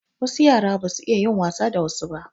Wasu yara ba su iya yin wasa da wasu ba.